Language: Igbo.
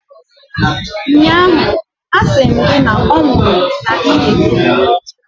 ụnyaahụ, asị m gị na ọ nwụrụ n’ihi gị!